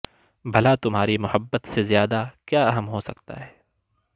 بھلا تمہاری محبت سے زیادہ کیا اہم ہو سکتا ہے